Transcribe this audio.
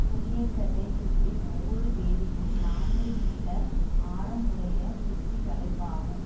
குடியேற்றத்தை சுற்றி ஒவ்வொரு வேலியும் நாநூறு மீட்டர் ஆரம் உடைய சுற்றி வளைப்பாகும்